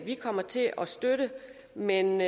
vi kommer til at støtte men